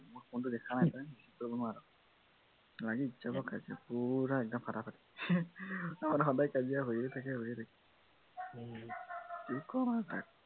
মই phone টো দেখা নাই নহয় লাগি যাব কাজিয়া পুৰা একদম ফাটাফাটি আমাৰ সদায় কাজিয়া হৈয়ে থাকে হৈয়ে থাকে কি কম আৰু তাক